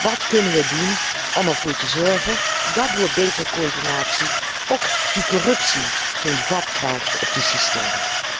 Wat kunnen we doen om ervoor te zorgen dat door een betere coördinatie die corruptie geen vat krijgt op die systemen?